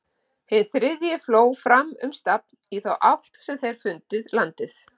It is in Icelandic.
Hinn þriðji fló fram um stafn í þá átt sem þeir fundið landið.